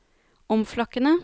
omflakkende